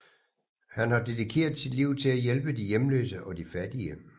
Han har dedikeret sit liv til at hjælpe de hjemløse og de fattige